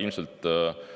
Ilmselt võiks